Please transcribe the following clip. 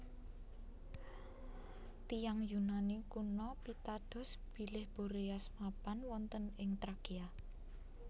Tiyang Yunani kuno pitados bilih Boreas mapan wonten ing Trakia